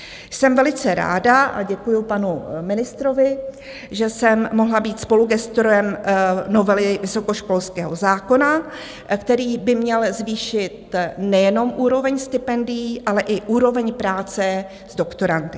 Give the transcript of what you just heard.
Jsem velice ráda, a děkuji panu ministrovi, že jsem mohla být spolugestorem novely vysokoškolského zákona, který by měl zvýšit nejenom úroveň stipendií, ale i úroveň práce s doktorandy.